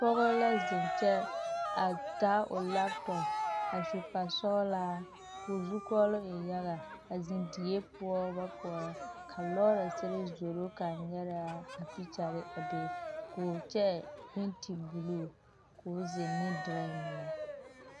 Pͻge la zeŋe kyԑ, a taa o laapotͻpo, a su kpare sͻgelaa ko o zukͻͻloŋ e yaga, a zeŋe die poͻ ba poͻrͻ, ka lͻͻrese zoro kaa nyԑrԑ a pikyare a be ko o kyԑ penti buluu koo zeŋ ne duriŋki meŋ.